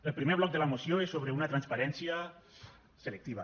el primer bloc de la moció és sobre una transparència selectiva